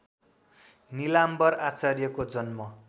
निलाम्बर आचार्यको जन्म